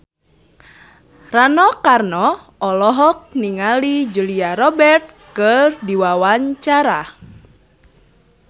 Rano Karno olohok ningali Julia Robert keur diwawancara